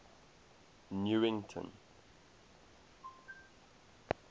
newington